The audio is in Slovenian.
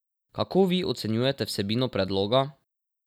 Kako vi ocenjujete vsebino predloga?